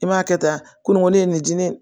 I b'a kɛ tan ko nin ko ne ye nin di ne ye